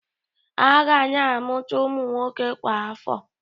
A ga na-amụta ụmụ nwoke kwa afọ.